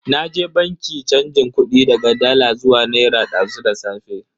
Naje banki chanjin kudi daga dala zuwa naira dazu da safe.